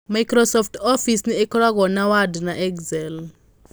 Microsoft Office nĩ ĩkoragwo na Word na Excel.